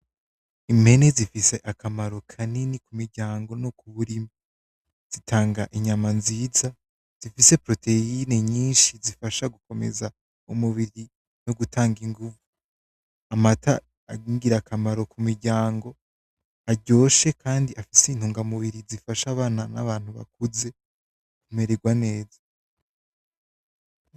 Impene zifise akamaro kanini kumiryango no kuburimyi. Zitanga inyama nzinza, zifise proteyine nyinshi zifasha gukomeza umubiri no gutanga ingumvu. Amata ari ningira akamaro kumiryango, aryoshe kandi afise intangamubiri zifasha bana nabantu bakuze kumererwa neza.